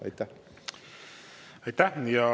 Aitäh!